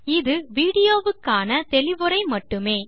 இது வீடியோ வுக்கான தெளிவுரை மட்டுமே